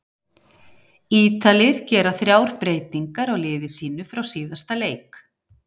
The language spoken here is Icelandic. Ítalir gera þrjár breytingar á liði sínu frá síðasta leik.